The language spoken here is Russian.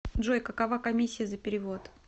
джой какова комиссия за перевод